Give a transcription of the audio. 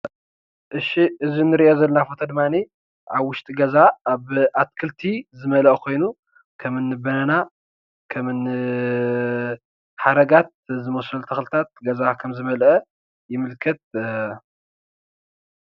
እሺ እዙይ ንሪኦ ዘለና ፎቶ ድማኒ ኣብ ውሽጢ ገዛ ኣብ ኣትክልቲ ዝመለኣ ካይኑ ከምኒ በነና ከምኒ ሓረጋት ዝመስሉ ተኽልታት ገዛ ዝመለኣ ይምክት።